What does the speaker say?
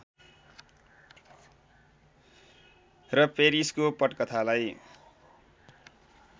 र फेरिसको पटकथालाई